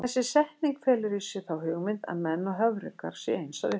Þessi setning felur í sér þá hugmynd að menn og höfrungar séu eins að upplagi.